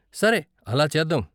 సరే, అలా చేద్దాం.